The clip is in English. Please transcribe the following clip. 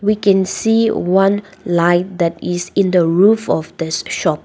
we can see one light that is in the roof of this shop.